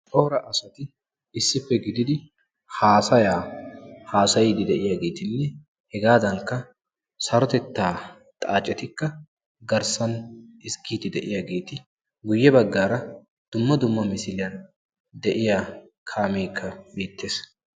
corra assay issipe gididi haasaya haasayidi de"iyagetti hegadanikka sarotetta xaacetikka ezgidi de"yagetti guye bagara dumma dumma misiliyani kaamekka beettessi.